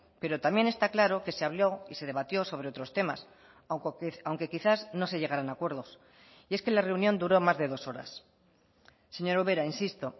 pero también está claro que se habló y se debatió sobre otros temas aunque quizás no se llegaran a acuerdos y es que la reunión duró más de dos horas señora ubera insisto